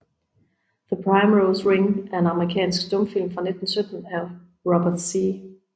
The Primrose Ring er en amerikansk stumfilm fra 1917 af Robert Z